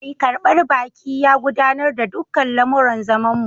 Mai karbar baki ya gudanar da dukkan lamuran zamanmu